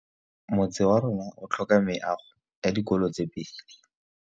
Motse warona o tlhoka meago ya dikolô tse pedi.